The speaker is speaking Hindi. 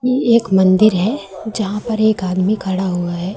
ये एक मंदिर है जहां पर एक आदमी खड़ा हुआ है।